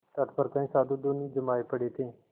तट पर कई साधु धूनी जमाये पड़े थे